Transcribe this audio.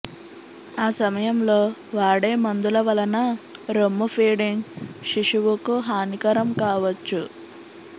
ఆ సమయంలో వాడే మందుల వలన రొమ్ము ఫీడింగ్ శిశువుకు హానికరం కావచ్చు